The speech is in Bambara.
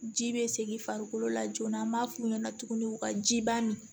Ji be segin farikolo la joona an m'a f'u ɲɛna tuguni u ka ji ban nin